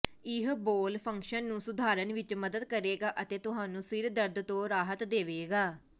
ਇਹ bowel function ਨੂੰ ਸੁਧਾਰਨ ਵਿੱਚ ਮਦਦ ਕਰੇਗਾ ਅਤੇ ਤੁਹਾਨੂੰ ਸਿਰ ਦਰਦ ਤੋਂ ਰਾਹਤ ਦੇਵੇਗਾ